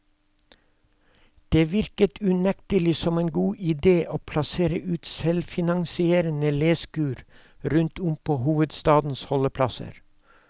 Det virket unektelig som en god idé å plassere ut selvfinansierende leskur rundt om på hovedstadens holdeplasser.